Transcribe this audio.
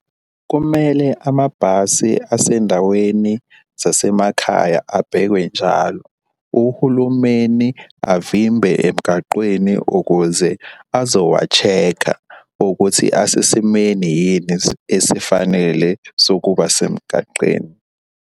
Kumele amabhasi asendaweni zasemakhaya abhekwe njalo. Uhulumeni avimbe emgaqweni ukuze azowa-check-kha ukuthi asesimeni yini esifanele sokuba semgaqeni.